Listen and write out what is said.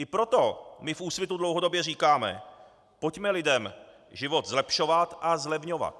I proto my v Úsvitu dlouhodobě říkáme: Pojďme lidem život zlepšovat a zlevňovat.